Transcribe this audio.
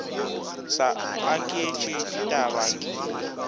sa aketše ditaba ke di